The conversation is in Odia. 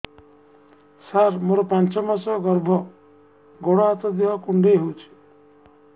ସାର ମୋର ପାଞ୍ଚ ମାସ ଗର୍ଭ ଗୋଡ ହାତ ଦେହ କୁଣ୍ଡେଇ ହେଉଛି